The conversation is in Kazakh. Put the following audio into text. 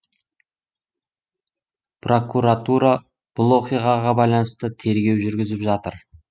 прокуратура бұл оқиғаға байланысты тергеу жүргізіп жатыр